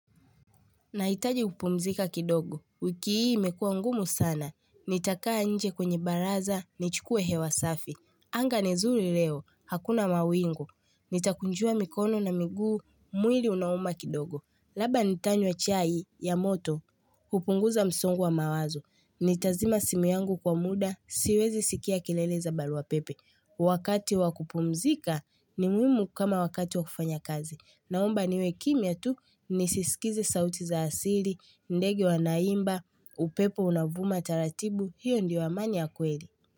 Nahitaji kupumzika kidogo, wiki hii imekua ngumu sana, nitakaa nje kwenye baraza, ni chukue hewa safi. Anga ni nzuri leo, hakuna mawingu, nitakunjua mikono na miguu, mwili unauma kidogo. Labda nitanywa chai ya moto, kupunguza msongo wa mawazo. Nitazima simu yangu kwa muda, siwezi sikia kelele za barua pepe. Wakati wa kupumzika ni muhimu kama wakati wa kufanya kazi. Naomba niwe kimya tu nisisikize sauti za asili, ndege wanaimba, upepo unavuma taratibu, hiyo ndio amani ya kweli.